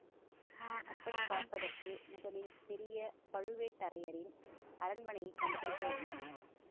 அப்படி பார்ப்பதற்கு முதலில் பெரிய பழுவேட்டரையரின் அரண்மனையைக் கண்டுபிடிக்க வேண்டும்